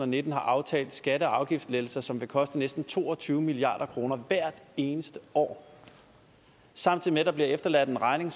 nitten har aftalt skatte og afgiftslettelser som vil koste næsten to og tyve milliard kroner hvert eneste år samtidig med at der bliver efterladt en regning